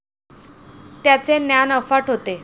त्याचे ज्ञान अफाट होते.